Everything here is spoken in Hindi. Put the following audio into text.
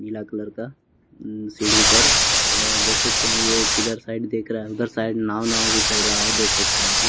पीला कलर का अम्म सीढ़ी पर अअ देख सकते हैं ये किधर साइड देख रहा है उधर साइड नाव नाव भी चल रहा है देख सकते हैं आप लो --